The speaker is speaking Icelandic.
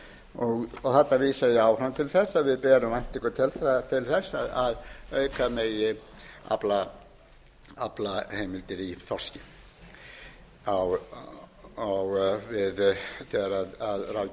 þarna vísa ég áfram til þess að við berum væntingu til þess að auka megi aflaheimildir í þorski þegar ráðgjöf hafrannsóknastofnunar fyrir næsta